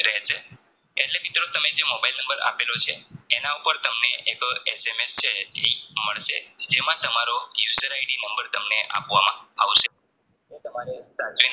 મિત્રો તમે જે મોબાઈલ નંબર આપેલો છે એનાઉપર તમને એક SMS છે Link મળશે જેમાં તમારો User ID નંબર તમને આપવામાં આવશે એ તમારે સાચવીને